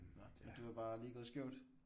Nåh du var bare lige gået skævt?